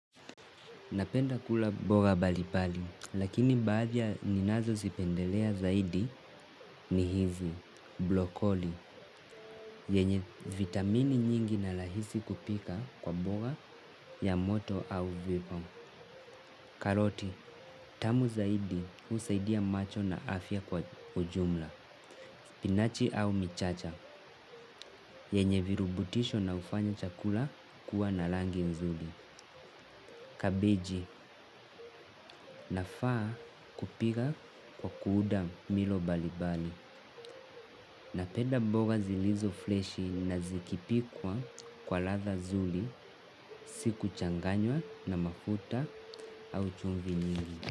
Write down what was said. Napenda kula mboga mbalimbali, lakini baadhi ya ninazozipendelea zaidi ni hizi, brokoli, yenye vitamini nyingi na rahisi kupika kwa mboga ya moto au vipo. Karoti, tamu zaidi husaidia macho na afya kwa ujumla, spinach au michicha, yenye virutubisho na hufanya chakula kuwa na rangi nzuri. Kabeji nafaa kupika kwa kuunda milo mbalimbali. Napenda mboga zilizo freshi na zikipikwa kwa ladha nzuri. Si kuchanganywa na mafuta au chumvii nyingi.